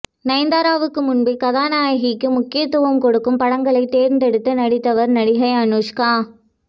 நயன்தாராவுக்கு முன்பே கதாநாயகிக்கு முக்கியத்துவம் கொடுக்கும் படங்களை தேர்ந்தெடுத்து நடித்தவர் நடிகை அனுஷ்கா